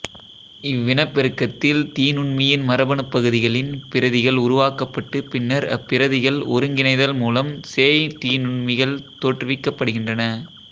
இவ்வினப்பெருக்கத்தில் தீநுண்மியின் மரபணுப் பகுதிகளின் பிரதிகள் உருவாக்கப்பட்டு பின்னர் அப்பிரதிகள் ஒருங்கிணைதல் மூலம் சேய் தீநுண்மிகள் தோற்றுவிக்கப்படுகின்றன